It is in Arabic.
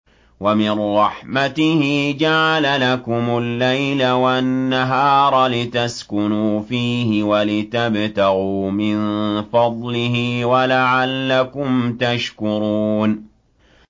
وَمِن رَّحْمَتِهِ جَعَلَ لَكُمُ اللَّيْلَ وَالنَّهَارَ لِتَسْكُنُوا فِيهِ وَلِتَبْتَغُوا مِن فَضْلِهِ وَلَعَلَّكُمْ تَشْكُرُونَ